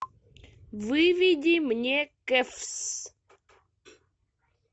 выведи мне каффс